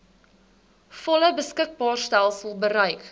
volle beskikbaarstelling bereik